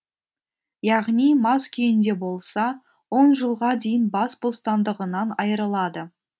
яғни мас күйінде болса он жылға дейін бас бостандығынан айырылады